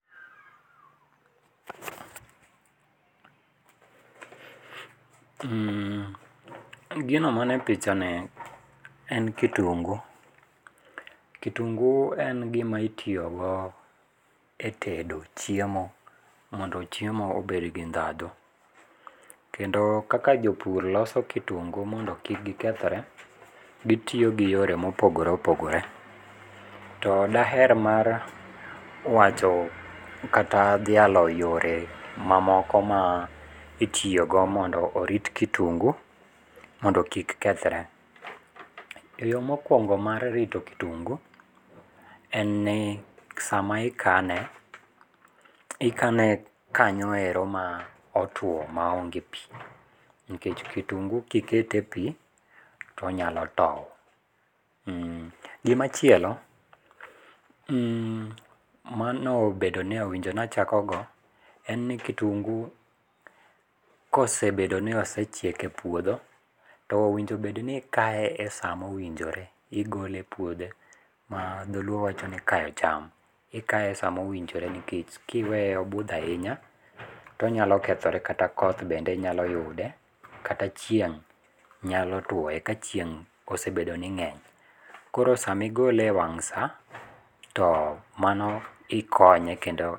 Mhh,gino manie pichani en kitungu, kitungu en gima itiyo go e tedo chiemo mondo chiemo obed gi ndhandhu, kendo kaka jopur loso kitungu mondo kik gikethre, gitiyo gi yore mopogore opogore to daher mar wacho kata dhialo yore mamoko ma itiyo go mondo orit kitungu mondo kik kethre. Yoo mokuongo mar rito kitungu en ni sama ikane ikane kanyoero ma otuo maonge pii nikech kitungu kiketo e pii tonyalo tow. Mhh, gimachielo, mmmh, manobedo ni owinjo bedo ni achako go en ni kitungu kosebedo ni osechiek e puodho towinjo obed ni ikkae e saa mowinjore, igole e puodho ma dholuo wachoni kayo cham, ikaye sama owinjore nikech kiweye odhi ainya tonyal okethore kata koth be nyalo yude kata chien'g be nyalo tuoye ka chieng' obedo ni ng'eny. Koro sama igole e wang' saa mano obedo ni ikonye kendo